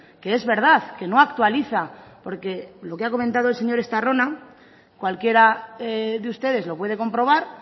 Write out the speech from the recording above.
que es verdad que no actualiza porque lo que ha comentado el señor estarrona cualquiera de ustedes lo puede comprobar